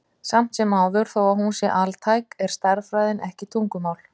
Samt sem áður, þó að hún sé altæk, er stærðfræðin ekki tungumál.